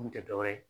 Mun tɛ dɔ wɛrɛ ye